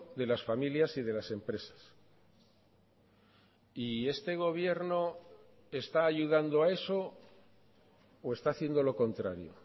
de las familias y de las empresas y este gobierno está ayudando a eso o está haciendo lo contrario